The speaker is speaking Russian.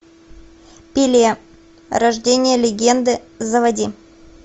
пеле рождение легенды заводи